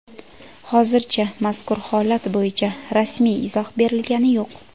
Hozircha mazkur holat bo‘yicha rasmiy izoh berilgani yo‘q.